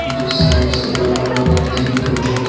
जो साइड से बड़ा बड़ा तीन ठो बॉक्स --